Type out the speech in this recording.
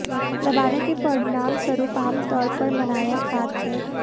दबाने के परिणामस्वरूप आम तौर पर मनाया खात है